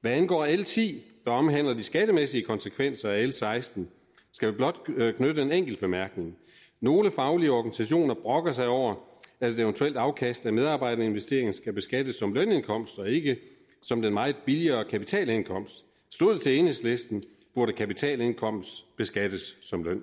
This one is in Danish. hvad angår l ti der omhandler de skattemæssige konsekvenser af l seksten skal vi blot knytte en enkelt bemærkning nogle faglige organisationer brokker sig over at et eventuelt afkast af medarbejderinvesteringen skal beskattes som lønindkomst og ikke som den meget billigere kapitalindkomst stod det til enhedslisten burde kapitalindkomst beskattes som løn